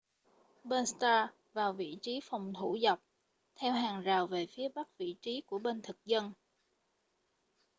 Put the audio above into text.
bên stark vào vị trí phòng thủ dọc theo hàng rào về phía bắc vị trí của bên thực dân